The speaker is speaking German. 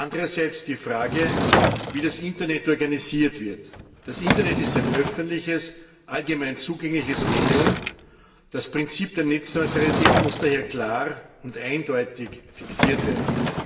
Andererseits die Frage, wie das Internet organisiert wird Das Internet ist ein öffentliches, allgemein zugängliches Medium das Prinzip der Netzneutralität muss daher klar und eindeutig fixiert werden.